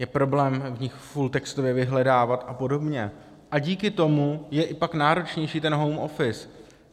Je problém v nich fulltextově vyhledávat a podobně, a díky tomu je pak i náročnější ten home office.